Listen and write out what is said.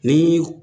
Ni